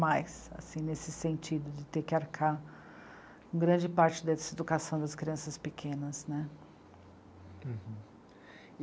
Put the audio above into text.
mais, assim nesse sentido, de ter que arcar grande parte dessa educação das crianças pequenas, né.